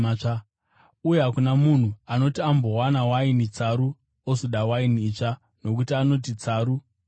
Uye hakuna munhu anoti ambonwa waini tsaru ozoda waini itsva, nokuti anoti, ‘Tsaru iri nani.’ ”